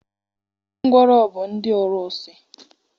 Ndị ngwọrọ bụ ndị ọrụsị.